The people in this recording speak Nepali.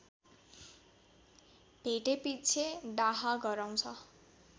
भेटेपिच्छे डाहा गराउँछ